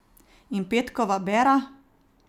In petkova bera?